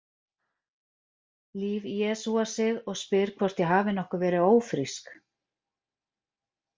Líf jesúar sig og spyr hvort ég hafi nokkuð verið ófrísk.